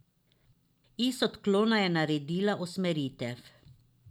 Iz odklona je naredila usmeritev.